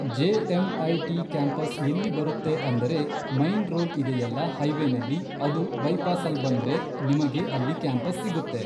J M I T campus ಎಲ್ಲಿ ಬರುತ್ತೆ ಅಂದರೆ ಮೈನ್ ರೋಡ್ ಇದೆಯಲ್ಲ ಹೈ ವೇನಲ್ಲಿ ಅದು ಬೈಪಾಸಲ್ಬಂದ್ರೆ ನಿಮಗೆ ಅಲ್ಲಿ ಕ್ಯಾಂಪಸ್ ಸಿಗುತ್ತೆ